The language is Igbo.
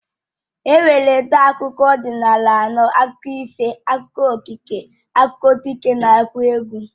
E nwere ụdị akụkọ ọdịnala anọ. Akụkọ ifo, akụkọ okike, akụkọ dike, n'akụkọneegwụ